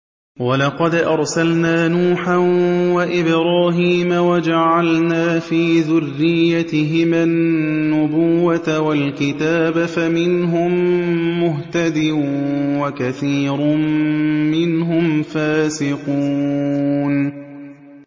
وَلَقَدْ أَرْسَلْنَا نُوحًا وَإِبْرَاهِيمَ وَجَعَلْنَا فِي ذُرِّيَّتِهِمَا النُّبُوَّةَ وَالْكِتَابَ ۖ فَمِنْهُم مُّهْتَدٍ ۖ وَكَثِيرٌ مِّنْهُمْ فَاسِقُونَ